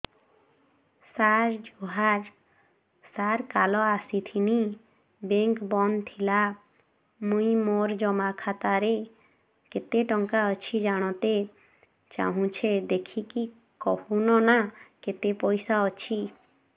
ସାର ଜୁହାର ସାର କାଲ ଆସିଥିନି ବେଙ୍କ ବନ୍ଦ ଥିଲା ମୁଇଁ ମୋର ଜମା ଖାତାରେ କେତେ ଟଙ୍କା ଅଛି ଜାଣତେ ଚାହୁଁଛେ ଦେଖିକି କହୁନ ନା କେତ ପଇସା ଅଛି